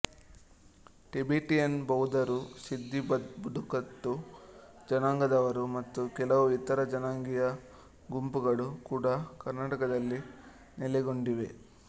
Tibetan ಬೌದ್ಧರು ಸಿದ್ಧಿ ಬುಡಕಟ್ಟು ಜನಾಂಗದವರು ಮತ್ತು ಕೆಲವು ಇತರ ಜನಾಂಗೀಯ ಗುಂಪುಗಳು ಕೂಡಾ ಕರ್ನಾಟಕದಲ್ಲಿ ನೆಲೆಗೊಂಡಿವೆ